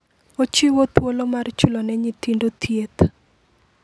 Ochiwo thuolo mar chulo ne nyithindo thieth.